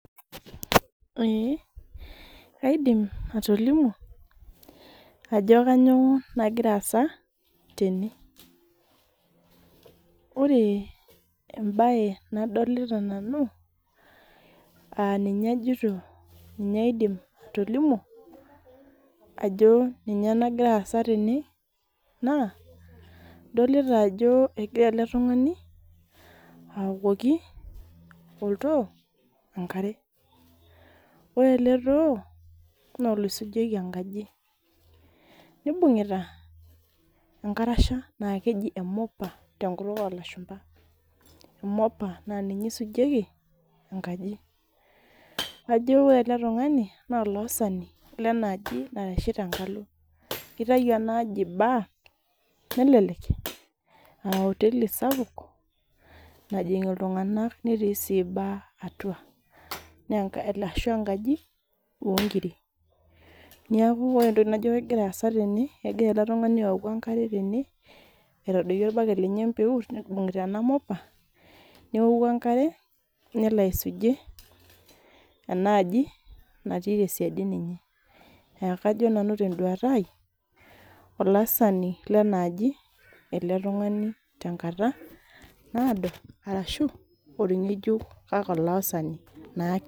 Kaidim atolimu ajo kainyoo nagira aasa tene ,ore embae nadolita nanu aa ninye ajoito aidim atolimu ajo ninye nagira aasa tene naa ,idolita ajo egira ele tungani aokoki ele too enkare. Ore ele too naa oloisujieki enkaji ,nebungita enkarasha naa keji emobber tenkutuk oolashumba. Mopa naa ninye eisujieki enkaji .Naa kajo ore ele tungani naa olaasani naitashito tenkalo. Keitayu enaaji bar nelelek a oteli sapuk najing iltunganak netii sii bar atua .Ashu enkaji oonkiri ,neeku ore entoki najo kegira aasa tene, kegira ele tungani aoku enkare tene aitadoiki orbaket lenye empeut ibungita ena mopa ,neoku enkare nelo aisujie enaaji natii tesiadi ninye. Kajo nanu tenduata ai olaasani lena aji ele tungani tenkata naado ashu orgejuk kake olaasani naake.